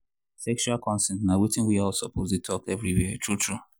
sexual consent na watin we all suppose dey talk everywhere true true.